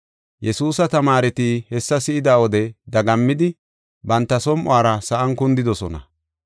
Yesuusa tamaareti hessa si7ida wode dagammidi banta som7uwara sa7an kundidosona.